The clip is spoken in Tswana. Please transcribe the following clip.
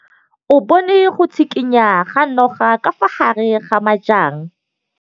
O bone go tshikinya ga noga ka fa gare ga majang.